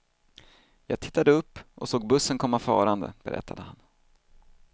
Jag tittade upp och såg bussen komma farande, berättade han.